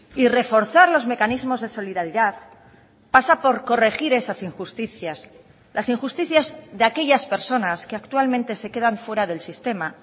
y reforzar los mecanismos de solidaridad pasa por corregir esas injusticias las injusticias de aquellas personas que actualmente se quedan fuera del sistema